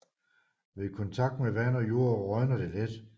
Ved kontakt med vand og jord rådner det let